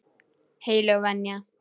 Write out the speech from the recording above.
Heilög venja.